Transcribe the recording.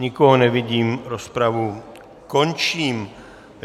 Nikoho nevidím, rozpravu končím.